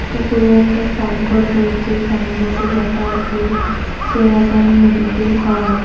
উপরে একটা সাইনবোর্ড রয়েছে সাইনবোর্ড -এ লেখা আসে সেয়াবান মেডিকেল হল ।